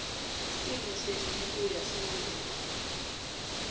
simo sebuphuya sibe